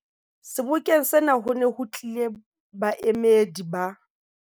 Sebokeng sena ho ne ho tlile baemedi ba